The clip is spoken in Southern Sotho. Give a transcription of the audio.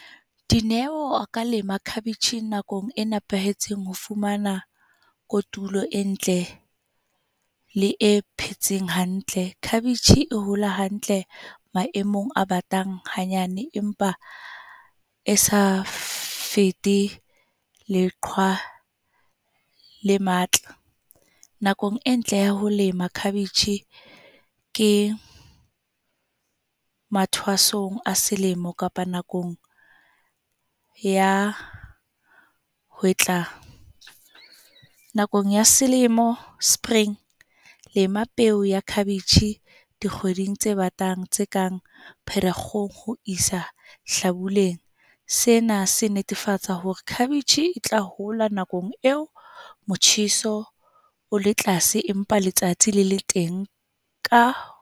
Dineo a ka lema khabetjhe nakong e nepahetseng ho fumana kotulo e ntle le e phetseng hantle, cabbage e hola hantle maemong a batang hanyane empa e sa fete leqhwa le matla. Nakong e ntle ya ho lema khabetjhe ke mathwasong a selemo kapa nakong ya hwetla, nakong ya selemo Spring. Lema peo ya khabetjhe dikgweding tse batang tse kang Pherekgong ho isa hlabuleng. Sena se netefatsa hore khabetjhe e tla hola nakong eo motjheso o le tlase empa letsatsi le le teng ka.